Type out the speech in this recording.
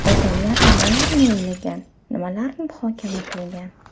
Odamlar nimalarni o‘ylagan, nimalarni muhokama qilgan?